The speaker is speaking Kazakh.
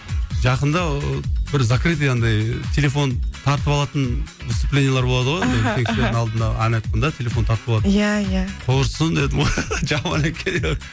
жақында ыыы бір закрытый андай телефон тартып алатын выступлениелер болады ғой үлкен кісілердің алдында ән айтқанда телефон тартып алады иә иә құрысын дедім ғой жаман екен